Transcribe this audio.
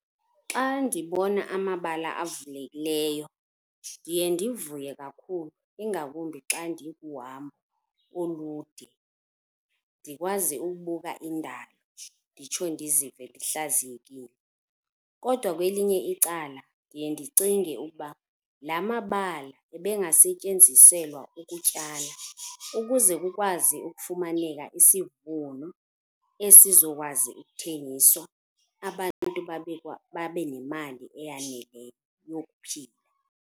Xa ndibona amabala avulekileyo ndiye ndivuye kakhulu ingakumbi xa ndikuhambo olude ndikwazi ukubuka indalo nditsho ndizive ndihlaziyekile. Kodwa kwelinye icala ndiye ndicinge ukuba la mabala ebengasetyenziselwa ukutyala ukuze kukwazi ukufumaneka isivuno esizokwazi ukuthengiswa abantu babe nemali eyaneleyo yokuphila.